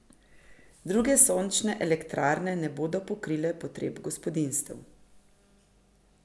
Druge sončne elektrarne ne bodo pokrile potreb gospodinjstev.